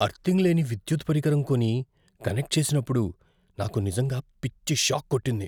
Earthing లేని విద్యుత్ పరికరం కొని, కనెక్ట్ చేసినప్పుడు నాకు నిజంగా పిచ్చి షాక్ కొట్టింది.